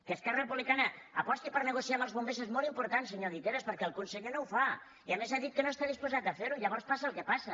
que esquerra republicana aposti per negociar amb els bombers és molt important senyor guiteras per·què el conseller no ho fa i a més ha dit que no està dis·posat a fer·ho i llavors passa el que passa